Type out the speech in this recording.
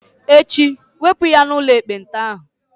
Echi, wepụ ya n'ụlọ ekpenta ahụ!